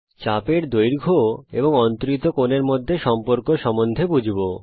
চাপ এর দৈর্ঘ্য এবং অন্তরিত কোণের মধ্যে সম্পর্ক সম্বন্ধে বুঝব